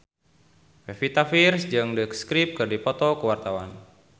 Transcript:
Pevita Pearce jeung The Script keur dipoto ku wartawan